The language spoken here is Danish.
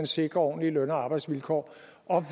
sikrer ordentlige løn og arbejdsvilkår